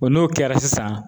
n'o kɛra sisan